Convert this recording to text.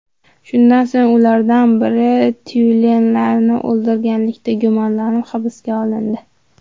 Shundan so‘ng ulardan biri tyulenlarni o‘ldirganlikda gumonlanib hibsga olindi.